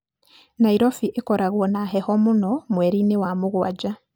Nairobi ĩkoragwo na heho mũno mweri-inĩ wa mũgwanja.